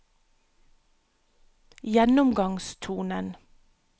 gjennomgangstonen